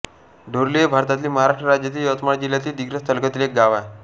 डोर्ली हे भारतातील महाराष्ट्र राज्यातील यवतमाळ जिल्ह्यातील दिग्रस तालुक्यातील एक गाव आहे